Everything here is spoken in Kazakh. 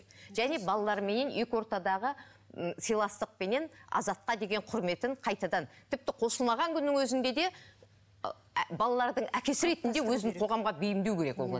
және балаларыменен екі ортадағы м сыйластықпенен азатқа деген құрметін қайтадан тіпті қосылмаған күннің өзінде де балалардың әкесі ретінде өзін қоғамға бейімдеу керек